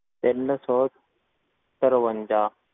ਤਿੰਨ ਸੌ ਤਰਵੰਜਾ।